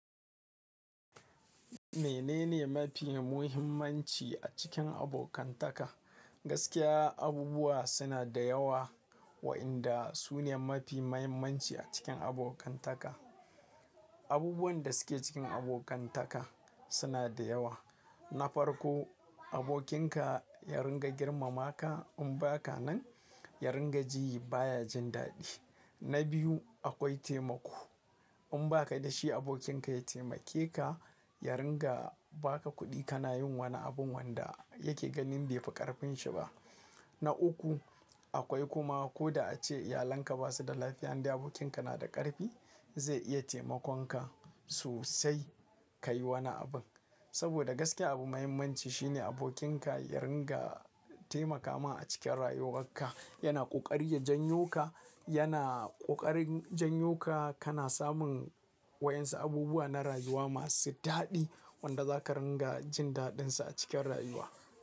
Menene mafi muhimmanci a cikin abokantaka? Gaskiya abubuwa suna da yawa waɗanda su ne mafi muhimmanci a cikin abokantaka. Abubuwan da suke cikin abokantaka suna da yawa. Na farko abokin ka ya rika girmama ka in ba ka nan ya rika ji ba ya jin daɗi. Na biyu akwai taimako. In ba ka da shi abokinka ya taimake ka, ya rika ba ka kuɗi ka na yin wani abun wanda yake ganin bai fi ƙarfin sa ba. Na uku akwai kuma ko da ace iyalan ka ba su da lafiya indai abokin ka na da ƙarfi zai iya taimakon ka sosai ka yi wani abin. Saboda gaskiya abu muhimmanci shi ne abokin ka ya rika taimaka ma a cikin rayuwar ka. Ya na ƙoƙari ya jan yo ka, yana ƙoƙarin jan yo ka, ka na samun waƴansu abubuwa na rayuwa masu daɗi wanda za ka rika jin daɗin su a cikin rayuwa.